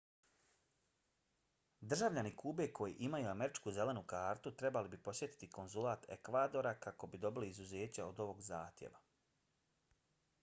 državljani kube koji imaju američku zelenu kartu trebali bi posjetiti konzulat ekvadora kako bi dobili izuzeće od ovog zahtjeva